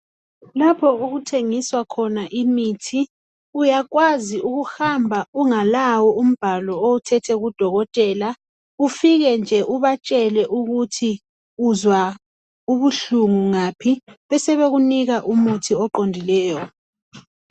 Lapho okuthengiswa khona imithi uyakwazi ukuhamba ungalawo umbhalo owuthethe kuDokotela ufike nje ubatshele ukuthi uzwa ubuhlungu ngaphi besebekunika umuthi oqondileyo.